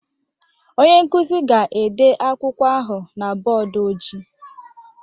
Onye nkuzi ga-ede akwụkwọ ahụ na bọọdụ ojii